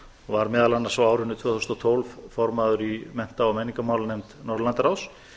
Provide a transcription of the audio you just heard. var meðal annars á árinu tvö þúsund og tólf formaður í mennta og menningarmálanefnd norðurlandaráðs